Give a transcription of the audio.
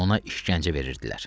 Ona işgəncə verirdilər.